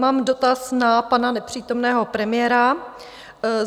Mám dotaz na pana nepřítomného premiéra.